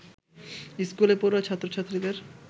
স্কুলে পড়ুয়া ছাত্র-ছাত্রীদের